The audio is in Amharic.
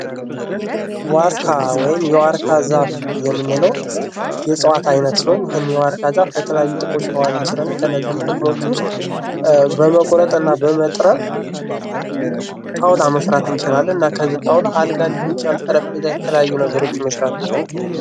ዋርካ ወይም የዋርካ ዛፍ የምንለው የእጽዋት አይነት ሲሆን ይህን የዋርካ ዛ ፍ ለተለያዩ ጥቅሞች እንችላለን ።ከእነዚህም ጥቅሞች ውስጥ በመቁረጥና በመጥረብ ጣውላ መስራት እንችላለን። እና ከዚህ ጣውላ አልጋ ሊሆን ይችላል ጠረጴዛ የተለያዩ ነገሮችን መስራት እንችላለን።